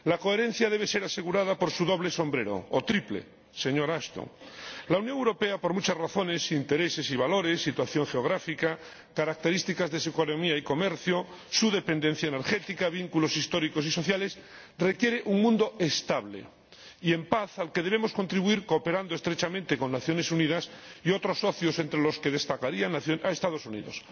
La coherencia debe ser asegurada por su doble, o triple, sombrero, señora Ashton. La Unión Europea, por muchas razones, intereses y valores, situación geográfica, características de su economía y comercio, su dependencia energética, vínculos históricos y sociales, requiere un mundo estable y en paz, al que debemos contribuir cooperando estrechamente con las Naciones Unidas y otros socios, entre los que destacaría a los Estados Unidos.